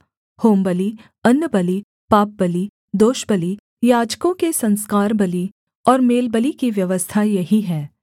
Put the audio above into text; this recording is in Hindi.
होमबलि अन्नबलि पापबलि दोषबलि याजकों के संस्कार बलि और मेलबलि की व्यवस्था यही है